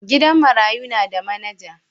gidan marayu na da manager.